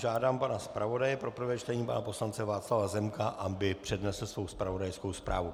Žádám pana zpravodaje pro prvé čtení pana poslance Václava Zemka, aby přednesl svoji zpravodajskou zprávu.